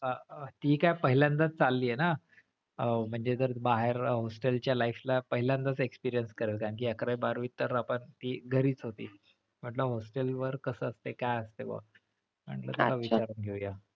अह ती काय पहिल्यांदाच चाललीये ना अह म्हणजे जर बाहेर hostel च्या life ला पहिल्यांदाच experience करेल कारण कि अकरावी बारावीत तर आपण ती घरीच होती. म्हणलं hostel वर कस असतंय काय असतंय बाबा म्हणलं विचारून घेऊया.